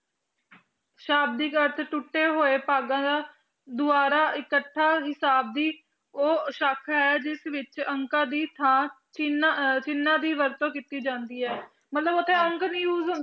ਸ਼ਾਬਦਿਕ ਅਰਥ ਟੁਟੇ ਹੋਏ ਦੁਆਰਾ ਇਕੱਠਾ ਹਿਸਾਬ ਵੀ ਉਹ ਸ਼ਾਖਾ ਹੈ ਜਿਸ ਵਿੱਚ ਅੰਕਾ ਦੀ ਚਿੰਨ ਆ ਚਿੰਨਾ ਦੀ ਵਰਤੋ ਕੀਤੀ ਜਾਂਦੀ ਹੈ ਮਤਲਬ ਉਥੇ ਅੰਕ ਨੀ USE ਚਿੰਨ